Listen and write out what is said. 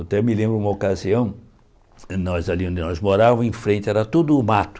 Eu até me lembro de uma ocasião, nós ali onde nós morávamos, em frente era tudo mato.